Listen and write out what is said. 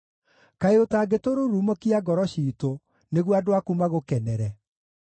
Kaĩ ũtangĩtũrurumũkia ngoro ciitũ, nĩguo andũ aku magũkenere?